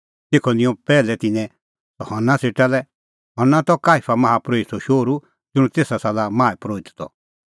तेखअ निंयं पैहलै तिन्नैं सह हन्ना सेटा लै हन्ना त काईफा माहा परोहितो शौहरअ ज़ुंण तेसा साला माहा परोहित त